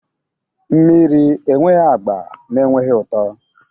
mmiri enweghị agba na enweghị ụtọ